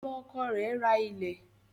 Ọmọ ọkọ rẹ̀ rà ilẹ